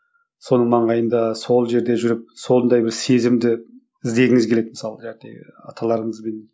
соның маңайында сол жерде жүріп сондай бір сезімді іздегіңіз келеді мысалы аталарымызбен